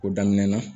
O daminɛna